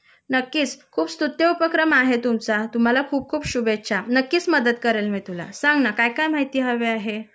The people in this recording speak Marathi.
नक्कीच खूप स्तुत्य उपक्रम आहे तुमचा तुम्हाला खूप खूप शुभेच्छा नक्कीच मदत करेल मी तुला सांग न काय काय माहिती हवी आहे